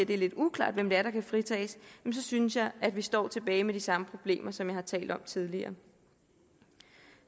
det er lidt uklart hvem det er der kan fritages så synes jeg at vi står tilbage med de samme problemer som jeg har talt om tidligere